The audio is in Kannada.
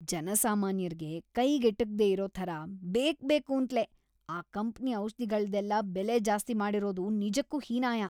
ಜನಸಾಮಾನ್ಯರ್ಗೆ ಕೈಗ್‌ ಎಟುಕ್ದೇ ಇರೋ ಥರ ಬೇಕ್ಬೇಕೂಂತ್ಲೇ ಆ ಕಂಪ್ನಿ ಔಷ್ಧಿಗಳ್ದೆಲ್ಲ ಬೆಲೆ ಜಾಸ್ತಿ ಮಾಡಿರೋದು ನಿಜಕ್ಕೂ ಹೀನಾಯ.